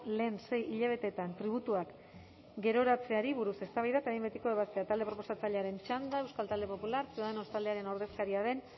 lehen sei hilabeteetan tributuak geroratzeari buruz eztabaida eta behin betiko ebazpena talde proposatzailearen txanda euskal talde popularra ciudadanos taldearen ordezkaria den